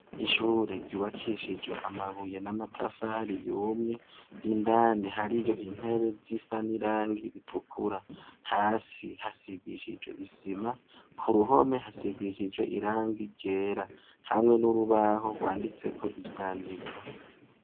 Ishure ryubakishijwe amabuye n'amatafari yumye; indani hariyo intebe zisa n'irangi ritukura. Hasi hasigishijwe isima, ku ruhome hasigishijwe irangi ryera hamwe n'urubaho rwanditseko ivyandiko.